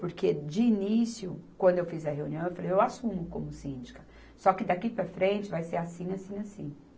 Porque, de início, quando eu fiz a reunião, eu falei, eu assumo como síndica, só que daqui para frente vai ser assim, assim, assim.